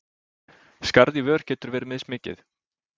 Skarð í vör getur verið mismikið.